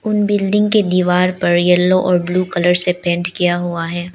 उन बिल्डिंग के दीवार पर येलो और ब्लू कलर से पेंट किया हुआ है।